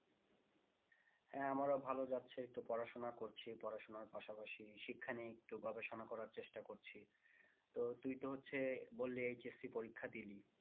হ্যাঁ আমার ও ভালো যাচ্ছে এই যে পড়াশোনা করছি পড়াশোনার পাশাপাশি শিক্ষা নিয়ে একটু গবেষণা করার চেষ্টা করছি। তো তুই তো হচ্ছে বললি HSC